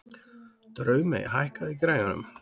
Draumey, hækkaðu í græjunum.